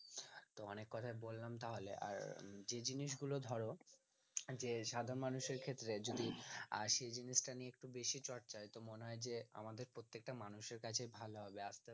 তো অনেক কথাই বললাম তাহলে আর যে জিনিসগুলো ধর এই যে সাধারণ মানুষদের ক্ষেত্রে যদি আর সে জিনিসটা নিয়ে একটু বেশি চর্চা তো মনে হয় যে আমাদের প্রত্যেকটা মানুষের কাছেই ভালো হবে আস্তে